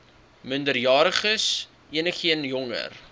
minderjariges enigeen jonger